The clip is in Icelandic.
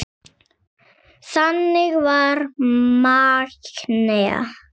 Þannig var Magnea.